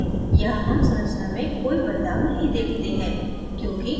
यहाँ हम संरचना में कोई बदलाव नहीं देखते हैं